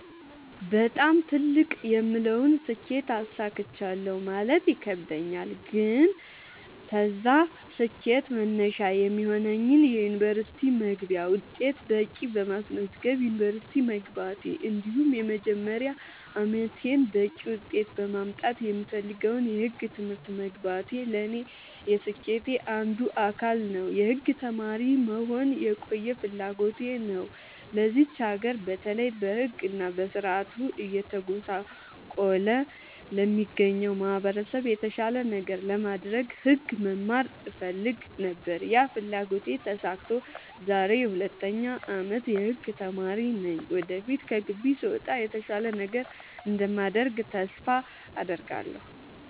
በጣም ትልቅ የምለውን ስኬት አሳክቻለሁ ማለት ይከብደኛል። ግን ለዛ ስኬት መነሻ የሚሆነኝን የ ዩኒቨርስቲ መግቢያ ውጤት በቂ በማስመዝገብ ዩንቨርስቲ መግባቴ እንዲሁም የመጀመሪያ አመቴን በቂ ውጤት በማምጣት የምፈልገውን የህግ ትምህርት መግባቴ ለኔ የስኬቴ አንዱ አካል ነው። የህግ ተማሪ መሆን የቆየ ፍላጎቴ ነው ለዚች ሀገር በተለይ በህግ እና በስርዓቱ እየተጎሳቆለ ለሚገኘው ማህበረሰብ የተሻለ ነገር ለማድረግ ህግ መማር እፈልግ ነበር ያ ፍላጎቴ ተሳክቶ ዛሬ የ 2ኛ አመት የህግ ተማሪ ነኝ ወደፊት ከግቢ ስወጣ የተሻለ ነገር እንደማደርግ ተስፋ አድርጋለሁ።